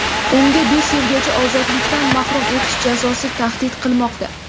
Unga besh yilgacha ozodlikdan mahrum etish jazosi tahdid qilmoqda.